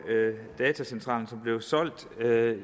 datacentralen som blev solgt